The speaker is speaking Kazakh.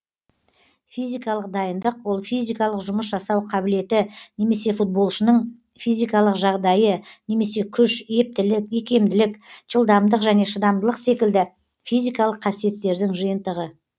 физикалық дайындық ол физикалық жұмыс жасау қабілеті немесе футболшының физикалық жағдайы немесе күш ептілік икемділік жылдамдылық және шыдамдылық секілді физикалық қасиеттердің жиынтығы